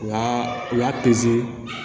U y'a u y'a